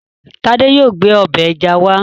Tádé yóò gbé ọbẹ̀ ẹja wá